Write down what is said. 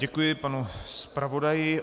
Děkuji panu zpravodaji.